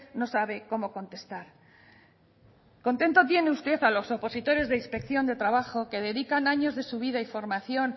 no sabe cómo contestar contento tiene usted a los opositores de inspección de trabajo que dedican años de su vida y formación